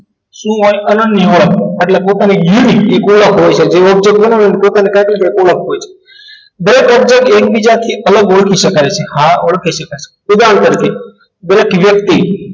શું હોય અનન્ય હોય એટલે ટોટલી યુનિકે કોઈ હોય છે હોય છે best of the એક બીજાથી અલગ હોય ઓળખી શકાય છે ઉદાહરણ તરીકે બેઠી વ્યક્તિ